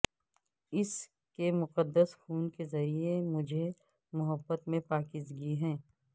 اس کے مقدس خون کے ذریعہ مجھے محبت میں پاکیزگی ہے